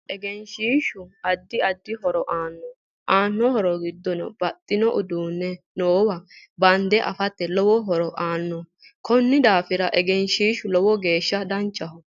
Egenshiishu addi addi horo aano aano horo giddo babaxino uduuni nowa bande afate lowo horo aanno konni daafira egnshiishu lowo geesha danchaho